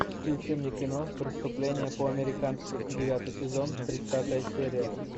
включи мне кино преступление по американски девятый сезон тридцатая серия